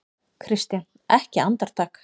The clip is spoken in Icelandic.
KRISTJÁN: Ekki andartak?